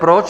Proč?